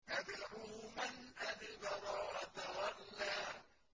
تَدْعُو مَنْ أَدْبَرَ وَتَوَلَّىٰ